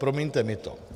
Promiňte mi to.